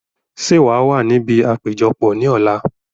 Sé wàá wà níbi àpéjọpọ̀ ní ọ̀la?